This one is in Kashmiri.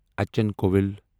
اچھن کۄوِل